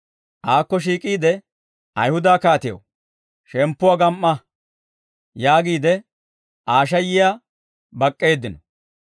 Aakko shiik'iide, «Ayihuda kaatew, shemppuwaa gam"a!» yaagiide Aa shayiyaa bak'k'eeddino.